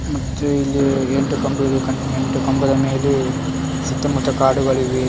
ಮತ್ತು ಇಲ್ಲಿ ಎಂಟು ಕಂಬಿಗಳು ಇವೆ ಎಂಟು ಕಂಬಗಳ ಮೇಲೆ ಸುತ್ತಮುತ್ತ ಕಾಡುಗಳು ಇವೆ.